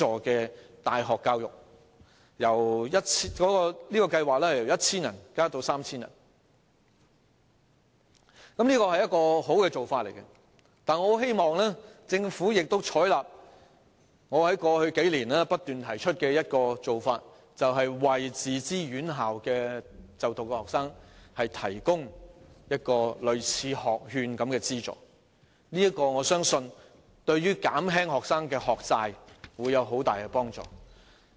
這項計劃的資助學額由最初的 1,000 個增加至 3,000 個，這是好的做法，但我很希望政府亦採納我在過去數年不斷提出的一種做法，就是為自資院校的學生提供類似學券的資助，我相信對於減輕學生的學債會有很大幫助。